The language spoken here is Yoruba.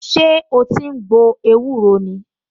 Ṣé o ti ń gbo ewúro ni?